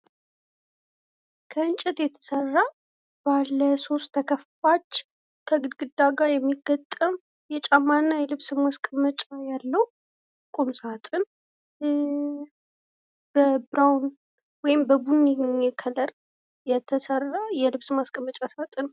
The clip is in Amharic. ከእንጨት የተሰራ ባለ ሶስት ተከፋች ከግድግዳ ጋር የሚገጠም የጫማ እና የልብስ ማስቀመጫ ያለው ቁምሳጥን በቡኒ ከለር የተሰራ የልብስ ማስቀመጫ ሳጥን።